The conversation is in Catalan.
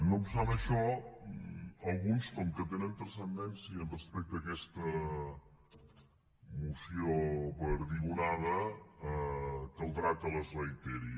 no obstant això alguns com que tenen transcendència respecte a aquesta moció perdigonada caldrà que els reiteri